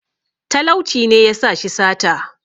talauci ne ya sa shi sata